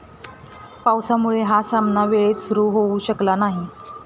पावसामुळे हा सामना वेळेत सुरू होऊ शकला नाही.